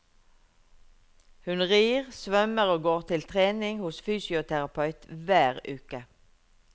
Hun rir, svømmer og går til trening hos fysioterapeut hver uke.